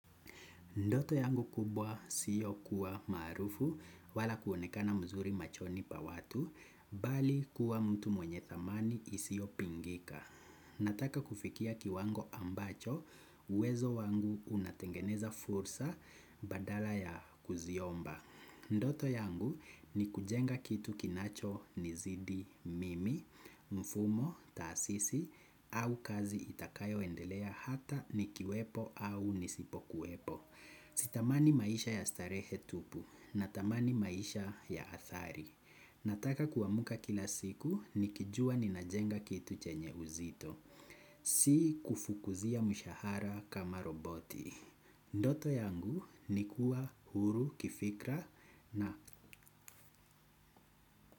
Ndoto yangu kubwa sio kuwa maarufu wala kuonekana mzuri machoni pa watu, bali kuwa mtu mwenye thamani isiopingika. Nataka kufikia kiwango ambacho, uwezo wangu unatengeneza fursa badala ya kuziomba. Ndoto yangu ni kujenga kitu kinachonizidi mimi, mfumo, taasisi, au kazi itakayo endelea hata ni kiwepo au nisipo kuepo. Si tamani maisha ya starehe tupu natamani maisha ya athari. Nataka kuwamka kila siku nikijua ninajenga kitu chenye uzito. Si kufukuzia mshahara kama roboti. Ndoto yangu nikuwa huru kifikra na.